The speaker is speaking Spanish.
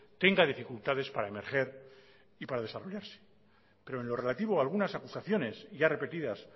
tenga dificultades para emerger y para desarrollarse pero en lo relativo a algunas acusaciones ya repetidas